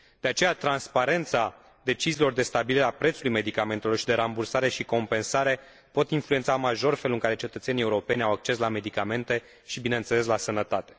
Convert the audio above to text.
De aceea, transparența deciziilor de stabilire a prețului medicamentelor și de rambursare și compensare pot influența major felul în care cetățenii europeni au acces la medicamente și, bineînțeles, la sănătate.